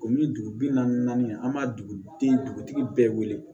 O min dugu bi naani naani an ma dugu den dugutigi bɛɛ wele